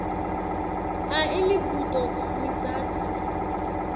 a imibuto mitsatfu